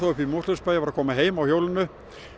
uppi í Mosfellsbæ var að koma heim á hjólinu